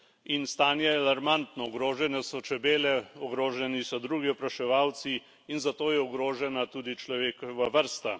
In stanje je alarmantno, ogrožene so čebele, ogroženi so drugi opraševalci in zato je ogrožena tudi človekova vrsta.